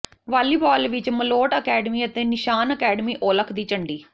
volleyball ਵਿਚ Malout academy ਅਤੇ Nishan academy Aulakh ਦੀ ਝੰਡੀ